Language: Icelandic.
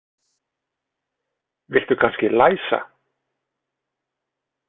Viltu kannski læsa?